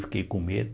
Fiquei com medo.